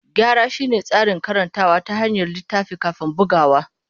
Gyara shine tsarin karantawa ta hanyar littafi kafin bugawa.